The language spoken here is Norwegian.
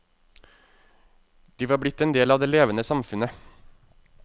De var blitt en del av det levende samfunnet.